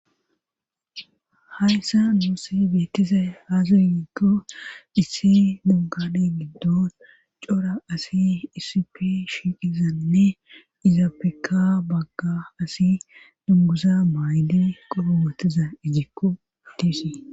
hayssan nuusi beettizay haazu yiikko issi monkade giddo cora asi isipi shiiqizanne izaapeka bagga asi dungusa mayli qoromatiza ijikko tiisi